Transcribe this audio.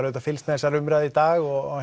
auðvitað fylgst með þessari umræðu í dag og